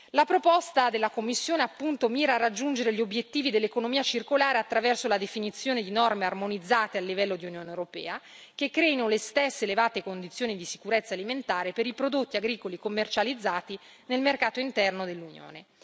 La proposta della Commissione, appunto, mira a raggiungere gli obbiettivi dell'economia circolare attraverso la definizione di norme armonizzate a livello di Unione europea che creino le stesse elevate condizioni di sicurezza alimentare per i prodotti agricoli commercializzati nel mercato interno dell'Unione.